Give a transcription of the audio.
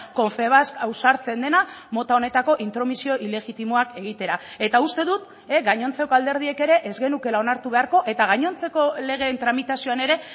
confebask ausartzen dena mota honetako intromisio ilegitimoak egitera eta uste dut gainontzeko alderdiek ere ez genukeela onartu beharko eta gainontzeko legeen tramitazioan ere